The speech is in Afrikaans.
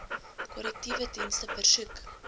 korrektiewe dienste versoek